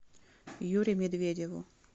юре медведеву